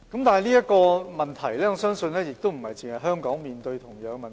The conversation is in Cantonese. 但是，我相信不單香港面對同樣的問題。